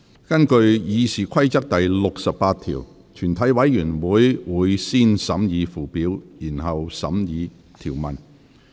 根據《議事規則》第68條，全體委員會會先審議附表，然後審議條文。